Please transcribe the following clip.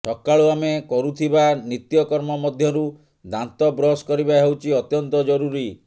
ସକାଳୁ ଆମେ କରୁଥିବା ନିତ୍ୟକର୍ମ ମଧ୍ୟରୁ ଦାନ୍ତ ବ୍ରଶ୍ କରିବା ହେଉଛି ଅତ୍ୟନ୍ତ ଜରୁରୀ